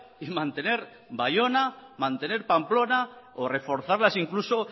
y mantener baiona mantener pamplona o reforzarlas incluso